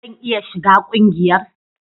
Zan iya shiga ƙungiyar?